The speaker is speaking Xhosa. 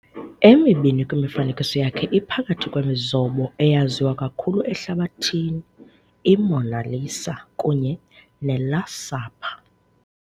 emibini kwimifanekiso yakhe iphakathi kwemizobo eyaziwa kakhulu ehlabathini- i"Mona Lisa" kunye ne"Last Supper".